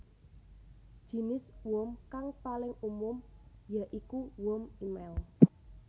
Jinis worm kang paling umum ya iku worm émail